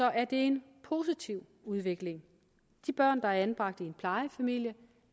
er det en positiv udvikling de børn der er anbragt i en plejefamilie